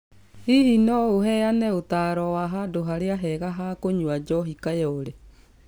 Hihi no ũheane ũtaaro wa handũ harĩa hega ha kũnyua njohi kayole